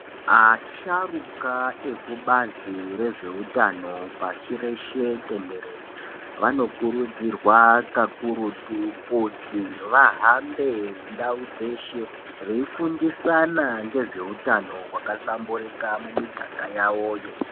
Asharuka ekubazi rezveutano pashi reshe tenderere vanokurudzirwa kakurutu kuti vahambe ndau dzeshe veifundisana ngezveutano hwakahlamburika mumiganga yavoyo.